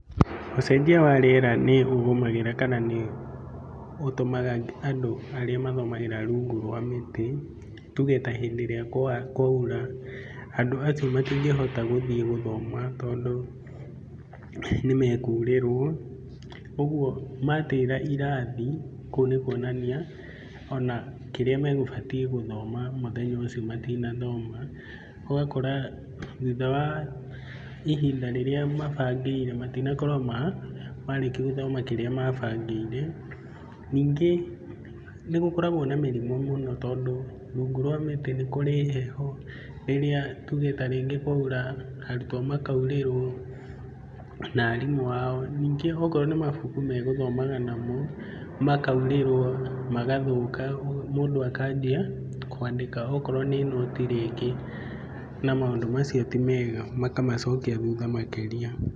Ũcenjia wa rĩera nĩ ũgũmagĩra kana nĩũtũmaga andũ arĩa mathomagĩra rungu rwa mĩtĩ tuge ta hĩndĩ ĩrĩa kwaura, andũ acio matingĩhota gũthiĩ gũthoma tondũ nĩmekurĩrwo, ũguo matĩra irathi, kũu nĩ kuonania ona kĩrĩa megũbatiĩ gũthoma mũthenya ũcio matinathoma. Ũgakora thutha wa ihinda rĩrĩa mabangĩire matinakorwo marĩkia gũthoma kĩrĩa mabangĩire. Ningĩ nĩgũkoragwo na mĩrimũ mũno tondũ rungu rwa mĩtĩ nĩ kũrĩ heho, rĩrĩa tuge ta rĩngĩ kwaura, arutwo makurĩrwo na arimũ ao. Ningĩ okorwo nĩ mabuku megũthomaga namo, makaurĩrwo magathũka mũndũ akanjia kwandĩka okorwo nĩ note i rĩngĩ, na maũndũ macio ti mega makamacokia thutha makĩria.